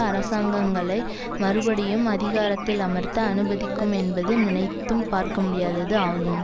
அரசாங்கங்களை மறுபடியும் அதிகாரத்தில் அமர்த்த அனுமதிக்கும் என்பது நினைத்தும் பார்க்கமுடியாதது ஆகும்